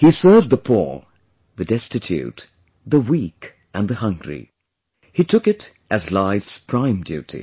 He served the poor, the destitute, the weak and the hungry... he took it as life's prime duty